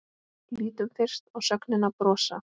Lítum fyrst á sögnina brosa: